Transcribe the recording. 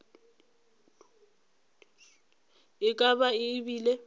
e ka ba e bile